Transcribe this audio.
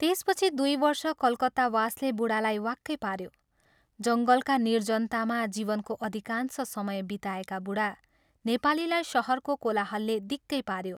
त्यसपछि दुइ वर्ष कलकत्तावासले बूढालाई वाक्कै पाऱ्यो जङ्गलका निर्जनतामा जीवनको अधिकांश समय बिताएका बूढा नेपालीलाई शहरको कोलाहलले दिक्कै पाऱ्यो।